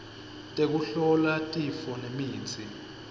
tekuhlola tifo nemitsi